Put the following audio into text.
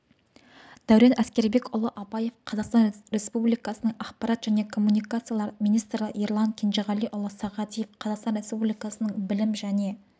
дәурен әскербекұлы абаев қазақстан республикасының ақпарат және коммуникациялар министрі ерлан кенжеғалиұлы сағадиев қазақстан республикасының білім және